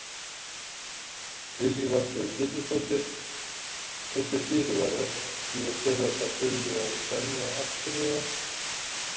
Lillý Valgerður Pétursdóttir: Þessir fyrirvarar, þýða þeir að það þurfi að semja aftur eða?